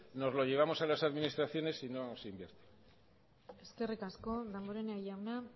nos los llevamos a las administraciones y no se invierte eskerrik asko damborenea jauna